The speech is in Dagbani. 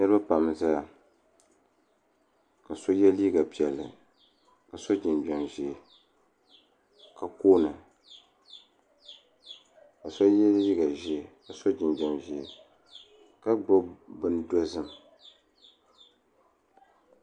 Niriba pam n zaya ka so ye liiga piɛlli ka so jinjiɛm ʒee ka koona ka so ye liiga ʒee ka so jinjiɛm ʒee ka gbibi bini dozim.